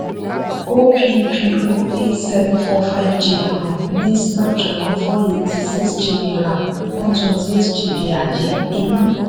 oppo a seven four five g um ní snapdragon four eighty six gb ram one twenty eight gb ààyè inú.